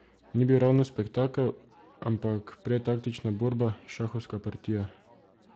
Ni bil ravno spektakel, ampak prej taktična borba, šahovska partija.